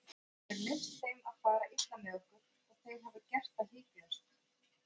Þú hefur leyft þeim að fara illa með okkur og þeir hafa gert það hikstalaust.